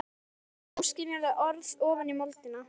Hún tuldrar óskiljanleg orð ofan í moldina.